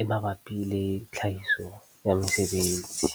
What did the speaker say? e mabapi le tlhahiso ya mesebetsi